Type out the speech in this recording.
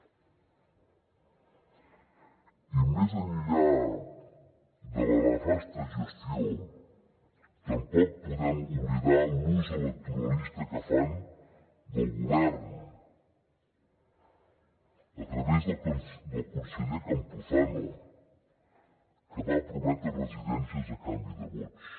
i més enllà de la nefasta gestió tampoc podem oblidar l’ús electoralista que fan del govern a través del conseller campuzano que va prometre residències a canvi de vots